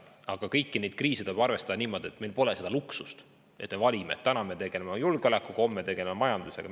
Aga kõigi nende kriiside puhul tuleb arvestada, et meil pole seda luksust, et me saame valida: täna tegeleme julgeolekuga, homme tegeleme majandusega.